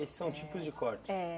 Esses são tipos de cortes? É.